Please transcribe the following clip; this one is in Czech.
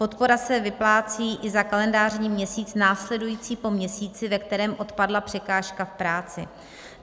Podpora se vyplácí i za kalendářní měsíc následující po měsíci, ve kterém odpadla překážka v práci.